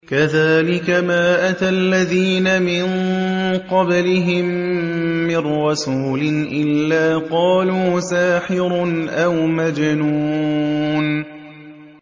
كَذَٰلِكَ مَا أَتَى الَّذِينَ مِن قَبْلِهِم مِّن رَّسُولٍ إِلَّا قَالُوا سَاحِرٌ أَوْ مَجْنُونٌ